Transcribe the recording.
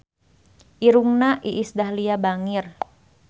Irungna Iis Dahlia bangir